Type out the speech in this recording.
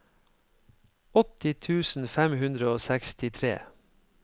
åtti tusen fem hundre og sekstitre